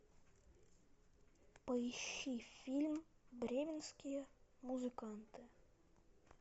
поищи фильм бременские музыканты